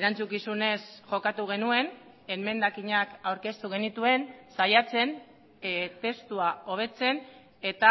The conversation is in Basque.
erantzukizunez jokatu genuen emendakinak aurkeztu genituen saiatzen testua hobetzen eta